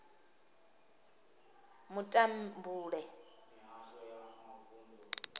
mutambule